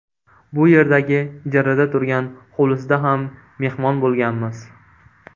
Bu yerdagi ijarada turgan hovlisida ham mehmon bo‘lganmiz.